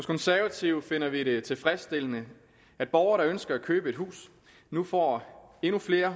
konservative finder vi det tilfredsstillende at borgere der ønsker at købe et hus nu får endnu flere